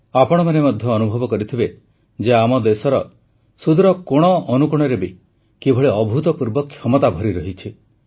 ଆପଣମାନେ ମଧ୍ୟ ଅନୁଭବ କରିଥିବେ ଯେ ଆମ ଦେଶର ସୁଦୂର କୋଣଅନୁକୋଣରେ ବି କିଭଳି ଅଭୂତପୂର୍ବ କ୍ଷମତା ଭରିରହିଛି